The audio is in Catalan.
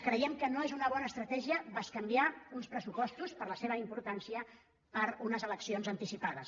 creiem que no és una bona estratègia bescanviar uns pressupostos per la seva importància per unes elec· cions anticipades